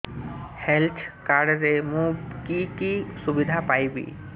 health card ରେ ମୁଁ କି କି ସୁବିଧା ପାଇବି